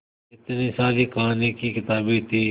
इतनी सारी कहानी की किताबें थीं